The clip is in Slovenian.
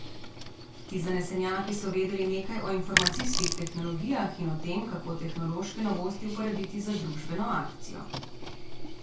Ti zanesenjaki so vedeli nekaj o informacijskih tehnologijah in o tem, kako tehnološke novosti uporabiti za družbeno akcijo.